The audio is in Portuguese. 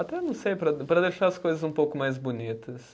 Até não sei para, para deixar as coisas um pouco mais bonitas.